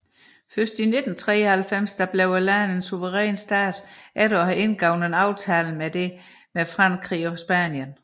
Først i 1993 blev landet en suveræn stat efter at have indgået en aftale om dette med Frankrig og Spanien